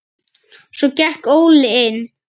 Svo gekk Óli inn.